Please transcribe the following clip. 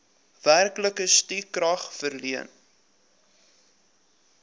werklike stukrag verleen